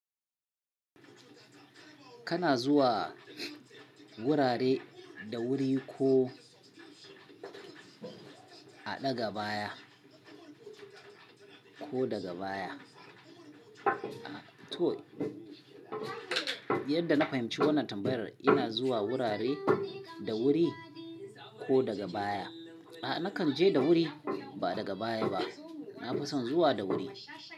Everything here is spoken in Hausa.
Kana zuwa wurare da wuri ko a ɗaga baya ko daga baya? To, yadda na fahimci wannan tambayar ina zuwa wurare da wuri ko daga baya. A'a nakan je da wuri ba daga baya ba. Na fi son zuwa da wuri.